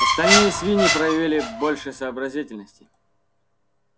остальные свиньи проявили больше сообразительности